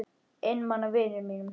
Einmana vinum mínum.